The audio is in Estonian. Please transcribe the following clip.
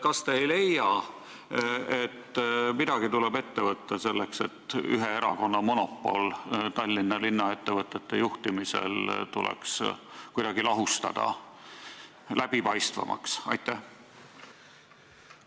Kas te ei leia, et midagi tuleb ette võtta ning ühe erakonna monopol linnaettevõtete juhtimisel Tallinnas tuleks kuidagi läbipaistvamaks lahustada?